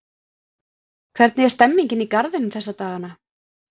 Hvernig er stemmningin í Garðinum þessa dagana?